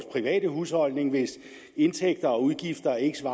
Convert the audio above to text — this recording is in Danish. private husholdning hvis indtægter og udgifter ikke